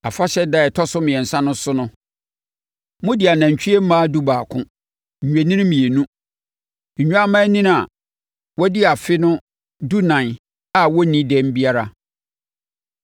“ ‘Afahyɛ ɛda a ɛtɔ so mmiɛnsa no so no, mode anantwie mmaa dubaako, nnwennini mmienu, nnwammaanini a wɔadi afe no dunan a wɔnnii dɛm biara